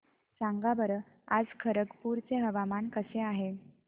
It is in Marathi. सांगा बरं आज खरगपूर चे हवामान कसे आहे